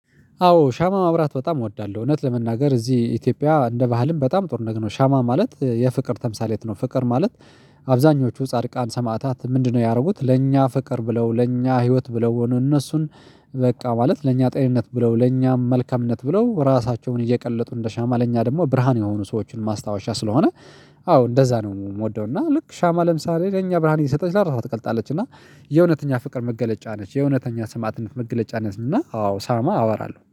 አዎ ሻማ ማብራት በጣም እወዳለሁ። እውነት ለመናገር እዚህ ኢትዮጵያ እንደ ባህልም በጣም ጥሩ ነገር ነው። ሻማ ማለት የፍቅር ተምሳሌት ነው። ፍቅር ማለት አብዛኞቹ ጻድቃን ሰማዕታት ምንድነው? ያደረጉት ለእኛ ፍቅር ብለው ለእኛ ህይወት ብለው እነሱን በቃ ማለት ለእኛ ጤንነት ብለው ለእኛ መልካምነት ብለው ራሳቸውን እየቀለጡ እንደ ሻማ ለእኛ ደግሞ ብርሃን የሆኑ ሰዎችን ማስታወሻ ስለሆነ። አዎ እንደዛ ነው የምወደው። እና ልክ ሻማ ለምሳሌ ለእኛ ብርሃን እየሰጠች ለራሷ ትቀልጣለች። እና የእውነተኛ ፍቅር መገለጫ ነች የእውነተኛ ሰማእትነት መገለጫ ነች። እና አዎ ሻማ አበራለሁ